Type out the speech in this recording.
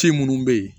Ci minnu bɛ yen